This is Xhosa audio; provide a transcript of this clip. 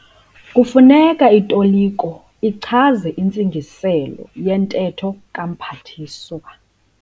Kufuneka itoliko ichaze intsigiselo yentetho kaMphathiswa.